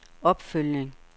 opfølgning